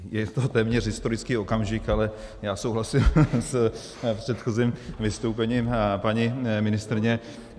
Je to téměř historický okamžik, ale já souhlasím s předchozím vystoupením paní ministryně.